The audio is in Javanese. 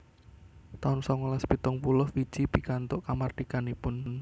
taun songolas pitung puluh Fiji pikantuk kamardikanipun